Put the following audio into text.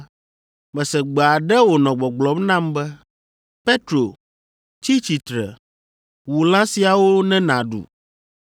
Mese gbe aɖe wònɔ gbɔgblɔm nam be, ‘Petro, tsi tsitre. Wu lã siawo ne nàɖu.’